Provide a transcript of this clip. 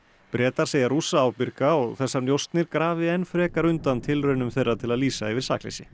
Bretar segja Rússa ábyrga og þessar njósnir grafi enn frekar undan tilraunum þeirra til að lýsa yfir sakleysi